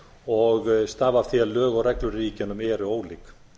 og stafa af því að lög og reglur í ríkjunum eru ólík